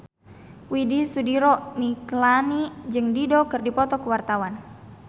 Widy Soediro Nichlany jeung Dido keur dipoto ku wartawan